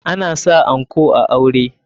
Ana sa anko a aure.